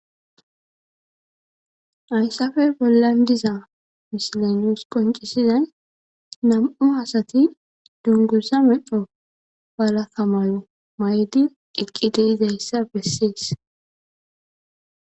Hayssappe bollan diza misila nus qoncisizay nam"u asati dunguzza medho walakka mayidi eqqi de'izayssa bessees.